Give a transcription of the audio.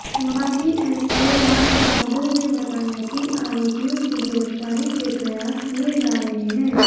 माखी एसओ राजबहादुर ने बताया कि आरोपियों की गिरफ्तारी के प्रयास किए जा रहे हैं